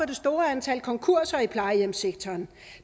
det store antal konkurser i plejehjemssektoren